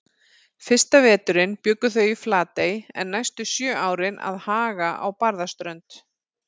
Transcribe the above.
Fyrsta veturinn bjuggu þau í Flatey en næstu sjö árin að Haga á Barðaströnd.